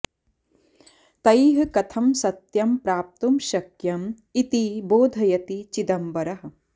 तैः कथं सत्यं प्राप्तुं शक्यम् इति बोधयति चिदंबरः